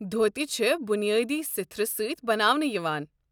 دھوتہ چھِ بُنیٲدی سٕتھرٕ سٕتۍ بناونہٕ یوان۔